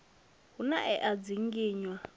hu na e a dzinginywa